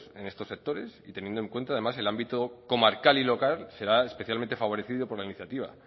en estos sectores y teniendo en cuenta además el ámbito comarcal y local que será especialmente favorecido por la iniciativa